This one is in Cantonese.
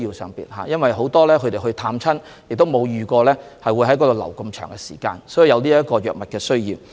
由於很多人前往湖北探親，沒有預計會在該地逗留這麼長時間，所以有藥物的需要。